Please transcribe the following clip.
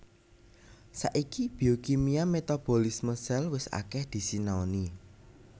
Saiki biokimia metabolisme sel wis akèh disinaoni